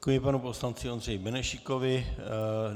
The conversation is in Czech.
Děkuji panu poslanci Ondřeji Benešíkovi.